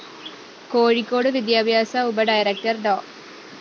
കോഴിക്കോട് വിദ്യാഭ്യാസ ഉപ ഡയറക്ടർ ഡോ